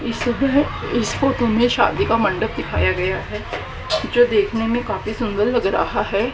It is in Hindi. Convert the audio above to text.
इस इस फोटो में शादी का मंडप दिखाया गया है जो देखने में काफी सुंदर लग रहा है।